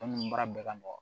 baara bɛɛ ka nɔgɔ